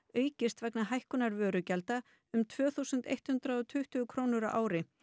aukist vegna hækkunar vörugjalda um tvö þúsund eitt hundrað og tuttugu krónur á ári